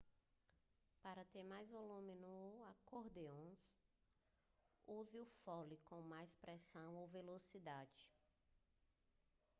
para ter mais volume no acordeão use o fole com mais pressão ou velocidade